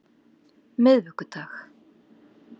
miðvikudag